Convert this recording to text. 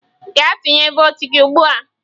Gaa tụnye votu gị ugbu a!